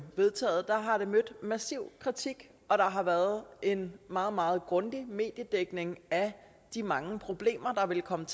vedtaget har det mødt massiv kritik og der har været en meget meget grundig mediedækning af de mange problemer der ville komme